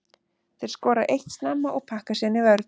Þeir skora eitt snemma og pakka síðan í vörn.